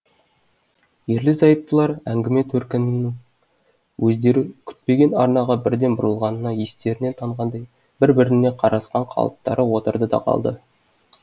ерлі зайыптылар әңгіме төркінінің өздері күтпеген арнаға бірден бұрылғанына естерінен танғандай бір біріне қарасқан қалыптары отырды да қалды